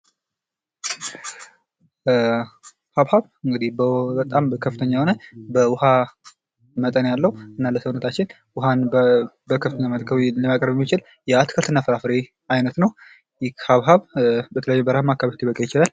ሀባብ እንግዲህ በጣም በከፍተኛ የሆነ በውሃ መጠን ያለው እና ለሰውነታችን ውሃን ለማቅረብ የሚችል የአትክልትና ፍራፍሬ አይነት ነው ። ይህ ሀባብ በተለያዩ በረሃማ አካባቢዎች ሊበቅል ይችላል ።